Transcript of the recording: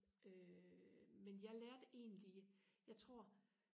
øh men jeg lærte egentlig jeg tror